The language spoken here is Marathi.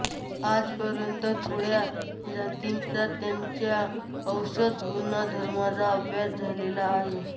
आजपर्यंत फार थोड्या जातींचा त्यांच्या औषधी गुणधर्मांचा अभ्यास झालेला आहे